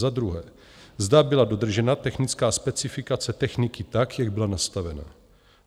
Za druhé, zda byla dodržena technická specifikace techniky tak, jak byla nastavena?